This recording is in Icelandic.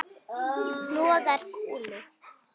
Hnoðar kúlur.